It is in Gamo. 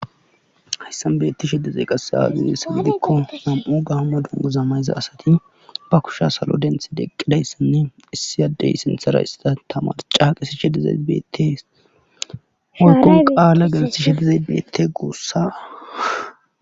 hayssan betti shedezeyqasse azuuyes gidikko nam7u gahama dungu zamayza asati ba kusha salo denthi deqqidayssanne issi addey sinthera isa tamarca qisi shedezabeet woykko qaala geltishedi zebeet guussa